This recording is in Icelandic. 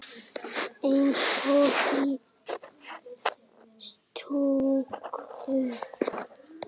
Eins og í stúku.